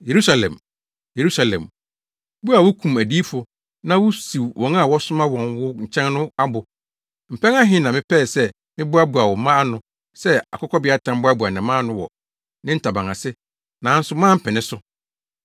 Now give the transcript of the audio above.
“Yerusalem, Yerusalem, wo a wukum adiyifo na wusiw wɔn a wɔsoma wɔn wo nkyɛn no abo! Mpɛn ahe ni a mepɛɛ sɛ meboaboa wo mma ano sɛ akokɔbeatan boaboa ne mma ano wɔ ne ntaban ase nanso moampene so.